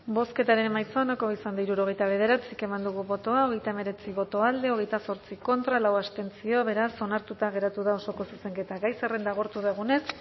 bozketaren emaitza onako izan da hirurogeita bederatzi eman dugu bozka hogeita hemeretzi boto alde hogeita zortzi contra lau abstentzio beraz onartuta geratu da osoko zuzenketa gai zerrenda agortu dugunez